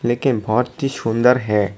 लेकिन बहोत ही सुंदर है।